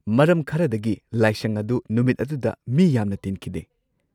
ꯃꯔꯝ ꯈꯔꯗꯒꯤ ꯂꯥꯏꯁꯪ ꯑꯗꯨ ꯅꯨꯃꯤꯠ ꯑꯗꯨꯗ ꯃꯤ ꯌꯥꯝꯅ ꯇꯤꯟꯈꯤꯗꯦ꯫